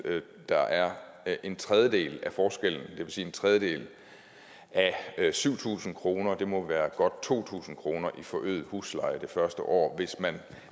der er en tredjedel af forskellen det vil sige en tredjedel af syv tusind kroner det må være godt to tusind kroner i forøget husleje det første år hvis man